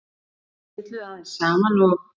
Þau spjölluðu aðeins saman og